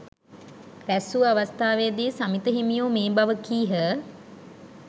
රැස්වූ අවස්ථාවේදී සමිත හිමියෝ මේ බව කීහ.